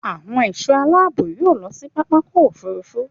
Àwọn ẹ̀ṣọ́ aláàbò yóò lọ sí pápákọ̀ òfúrufú